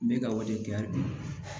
N bɛ ka wajibiya bi